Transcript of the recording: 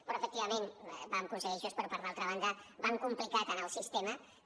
però efectivament vam aconseguir això però per altra banda vam complicar tant el sistema que